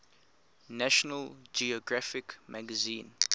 national geographic magazine